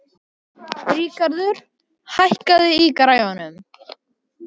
Ríkarður, hækkaðu í græjunum.